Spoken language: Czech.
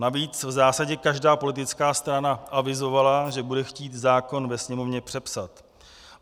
Navíc v zásadě každá politická strana avizovala, že bude chtít zákon ve Sněmovně přepsat.